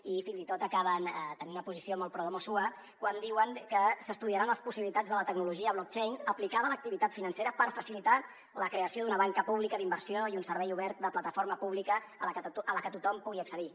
i fins i tot acaben tenint una posició molt pro domo sua quan diuen que s’estudiaran les possibilitats de la tecnologia blockchain aplicada a l’activitat financera per facilitar la creació d’una banca pública d’inversió i un servei obert de plataforma pública a la que tothom pugui accedir